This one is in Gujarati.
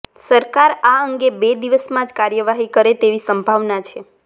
સરકાર અા અંગે બે દિવસમાં જ કાર્યવાહી કરે તેવી સંભાવના છે